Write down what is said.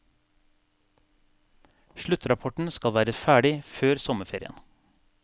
Sluttrapporten skal være ferdig før sommerferien.